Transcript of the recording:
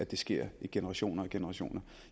at det sker i generation efter generation